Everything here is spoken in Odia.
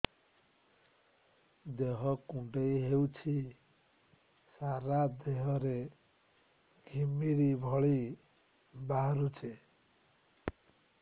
ଦେହ କୁଣ୍ଡେଇ ହେଉଛି ସାରା ଦେହ ରେ ଘିମିରି ଭଳି ବାହାରୁଛି